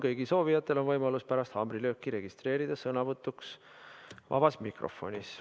Kõigil soovijatel on võimalus pärast haamrilööki registreeruda sõnavõtuks vabas mikrofonis.